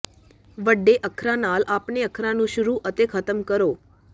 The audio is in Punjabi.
ਵੱਡੇ ਅੱਖਰਾਂ ਨਾਲ ਆਪਣੇ ਅੱਖਰਾਂ ਨੂੰ ਸ਼ੁਰੂ ਅਤੇ ਖ਼ਤਮ ਕਰੋ